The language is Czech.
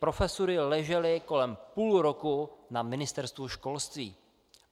Profesury ležely kolem půl roku na Ministerstvu školství.